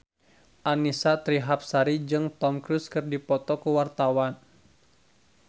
Annisa Trihapsari jeung Tom Cruise keur dipoto ku wartawan